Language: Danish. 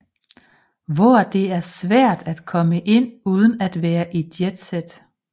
Hvor det er svært at komme ind uden at være i jet set